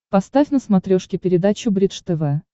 поставь на смотрешке передачу бридж тв